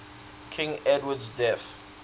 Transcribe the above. king edward's death